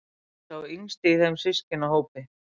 Sá yngsti í þeim systkinahópi.